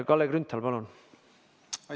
Kalle Grünthal, palun!